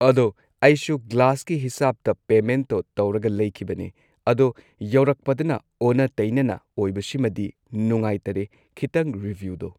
ꯑꯗꯣ ꯑꯩꯁꯨ ꯒ꯭ꯂꯥꯁꯀꯤ ꯍꯤꯁꯥꯞꯇ ꯄꯦꯃꯦꯟꯠꯇꯣ ꯇꯧꯔꯒ ꯂꯩꯈꯤꯕꯅꯦ ꯑꯗꯣ ꯌꯧꯔꯛꯄꯗꯅ ꯑꯣꯟꯅ ꯇꯩꯅꯅ ꯑꯣꯏꯕꯁꯤꯃꯗꯤ ꯅꯨꯡꯉꯥꯏꯇꯔꯦ ꯈꯤꯇꯪ ꯔꯤꯚ꯭ꯌꯨꯗꯣ